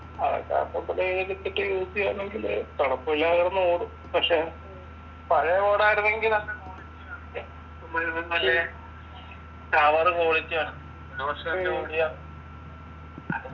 അവിടത്തെ use എയ്യാണെങ്കില് കുഴപ്പമില്ലാതെ കിടന്നോടും പക്ഷെ പഴയ road ആയിരുന്നെങ്കി നല്ല മുഴുവൻ മറ്റേ ചവറ് quality ആണ് ഒരു പക്ഷെ